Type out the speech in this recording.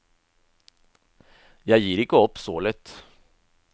Jeg gir ikke opp så lett.